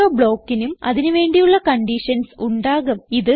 ഓരോ ബ്ലോക്കിനും അതിന് വേണ്ടിയുള്ള കണ്ടീഷൻസ് ഉണ്ടാകും